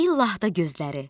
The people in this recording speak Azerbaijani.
İllah da gözləri.